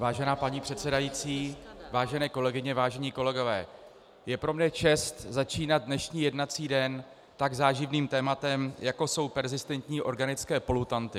Vážená paní předsedající, vážené kolegyně, vážení kolegové, je pro mě čest začínat dnešní jednací den tak záživným tématem, jako jsou perzistentní organické polutanty.